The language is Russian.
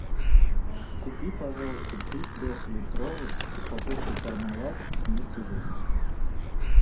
купи пожалуйста три трехлитровых упаковки пармалат с низкой жирностью